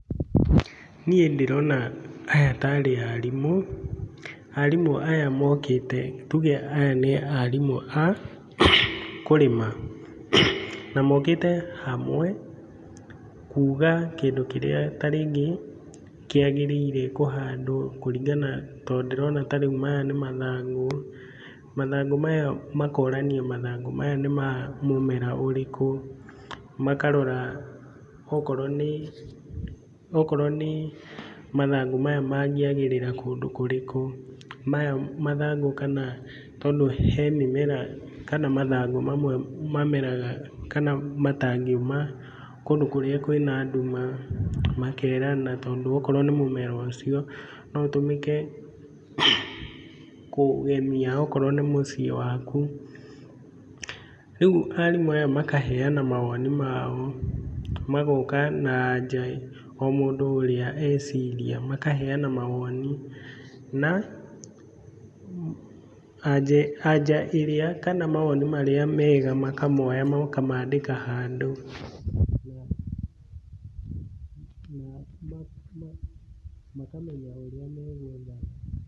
Niĩ ndĩrona aya ta rĩ arimũ, arimũ aya mokĩte, tuge aya nĩ arimũ a kũrĩma na mokĩte hamwe, kuga kĩndũ kĩrĩa ta rĩngĩ kĩagĩrĩire kũhandwo kũringana, tondũ ndĩrona ta rĩu maya nĩ mathangũ, mathangũ maya, makorania mathangũ maya nĩ ma mũmera ũrĩkũ, makarora okorwo nĩ, okorwo nĩ mathangũ maya mangĩagĩrĩra kũndũ kũrĩkũ, maya mathangũ kana tondũ he mũmera, kana mathangũ mamwe mameraga kana matangĩũma kũndũ kũrĩa kwĩna nduma, makerana tondũ okorwo nĩ mũmera ũcio, no ũtũmĩke kũgemia okorwo nĩ mũciĩ waku, rĩu arimũ aya makaheana mawoni mao, magoka na anja o mũndũ ĩrĩa eciria, makaheana mawoni, na anja ĩrĩa kana mawoni marĩa mega makamoya makamandĩka handũ na makamenya ũrĩa megwetha...